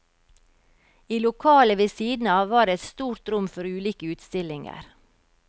I lokalet ved siden av var det et stort rom for ulike utstillinger.